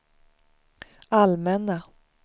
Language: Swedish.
allmänna